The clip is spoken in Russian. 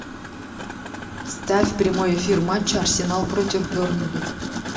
ставь прямой эфир матча арсенал против бернли